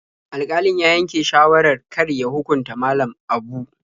Alƙalin ya yanke shawarar kar ya hukunta Malam Abu.